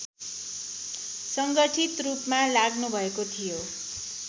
सङ्गठितरूपमा लाग्नुभएको थियो